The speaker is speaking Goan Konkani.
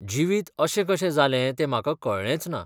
जिवीत अशें कशें जालें तें म्हाका कळ्ळेंचना.